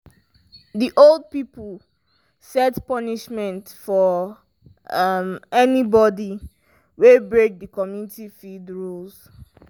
the old pipo set punishment for um anybody wey break the community field rules.